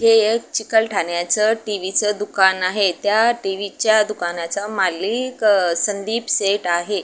हे एक चिखल ठाण्याचं टी.व्ही. चं दुकान आहे त्या टी.व्ही. च्या दुकानाचा मालिक संदीप सेट आहे.